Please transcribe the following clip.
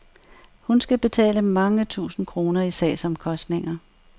Hun skal betale mange tusind kroner i sagsomkostninger.